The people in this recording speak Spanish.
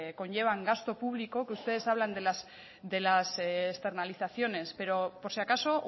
conllevan gasto público que ustedes hablan de las externalizaciones pero por si acaso